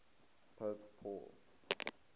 pope paul